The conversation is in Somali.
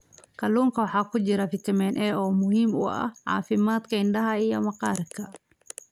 Kalluunka waxaa ku jira fitamiin A oo muhiim u ah caafimaadka indhaha iyo maqaarka.